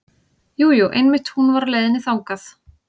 Jú, jú einmitt hún var á leiðinni þangað.